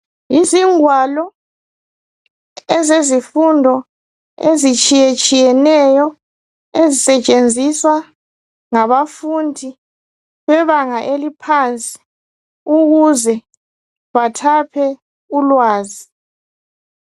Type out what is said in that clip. Izingwalo ezezifundo ezitshiyetshiyeneyo ezisetshenziswa ngabafundi bebanga eliphansi ukuze bathaphe ulwazi.